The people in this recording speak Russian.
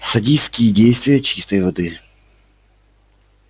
садистские действия чистой воды